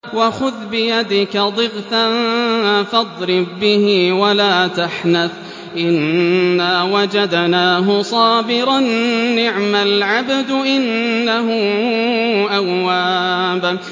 وَخُذْ بِيَدِكَ ضِغْثًا فَاضْرِب بِّهِ وَلَا تَحْنَثْ ۗ إِنَّا وَجَدْنَاهُ صَابِرًا ۚ نِّعْمَ الْعَبْدُ ۖ إِنَّهُ أَوَّابٌ